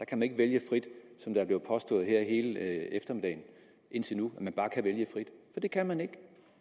kan ikke vælge frit som det er blevet påstået hele eftermiddagen indtil nu for det kan man ikke